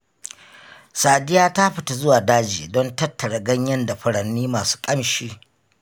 Sadiya ta fita zuwa daji don tattara ganye da furanni masu ƙamshi.